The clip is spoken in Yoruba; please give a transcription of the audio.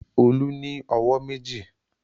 Olú ní ọwọ́ méjì.